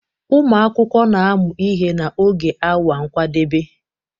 Ụmụ akwụkwọ na-amụ ihe n'oge awa nkwadebe